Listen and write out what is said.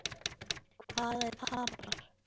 Hver tapar?